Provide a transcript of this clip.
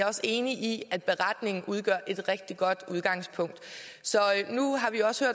også enig i at beretningen udgør et rigtig godt udgangspunkt så nu har vi også